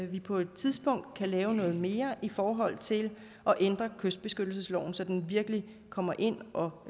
vi på et tidspunkt kan lave noget mere i forhold til at ændre kystbeskyttelsesloven så den virkelig kommer ind og